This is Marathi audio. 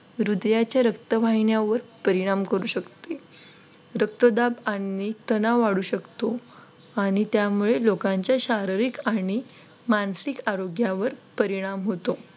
हृदयाच्या रक्तवाहिन्यावर परिणाम करू शकते रक्तदाब आणि तणाव वाढू शकतो आणि त्यामुळे लोकांच्या शारीरिक आणि मानसिक आरोग्यावर परिणाम होतो.